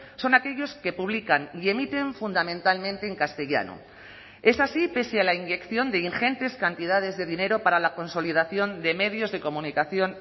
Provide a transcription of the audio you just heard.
son aquellos que publican y emiten fundamentalmente en castellano es así pese a la inyección de ingentes cantidades de dinero para la consolidación de medios de comunicación